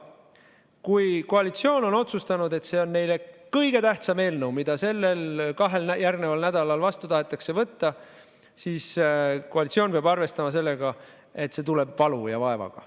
Kui koalitsioon on otsustanud, et see on neile kõige tähtsam eelnõu, mida kahel järgneval nädalal tahetakse vastu võtta, siis koalitsioon peab arvestama sellega, et see tuleb valu ja vaevaga.